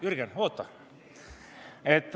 Jürgen, oota!